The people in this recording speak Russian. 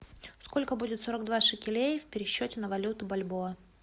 сколько будет сорок два шекелей в пересчете на валюту бальбоа